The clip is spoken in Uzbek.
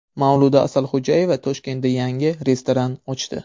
Mavluda Asalxo‘jayeva Toshkentda yangi restoran ochdi .